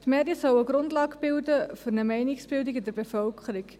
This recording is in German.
Die Medien sollen eine Grundlage bilden für eine Meinungsbildung in der Bevölkerung.